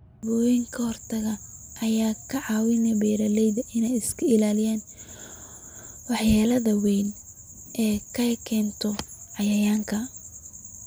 Tallaabooyin ka hortag ah ayaa ka caawiya beeralayda inay iska ilaaliyaan waxyeellada weyn ee ay keento cayayaanka.